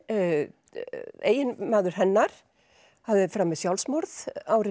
eiginmaður hennar hafði framið sjálfsmorð ári